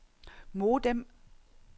modem